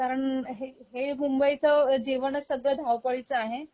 कारण हे मुंबईच जीवनच सगळं धावपळीच आहे